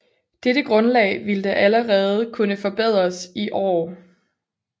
Dette Grundlag vilde allerede kunne forberedes i Aar